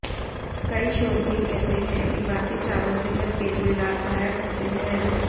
कई शोध भी कहते हैं कि बासी चावल सेहत के लिए लाभदायक होते हैं